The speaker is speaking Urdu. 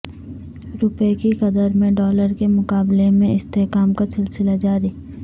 روپے کی قدر میں ڈالر کے مقابلے میں استحکام کا سلسلہ جاری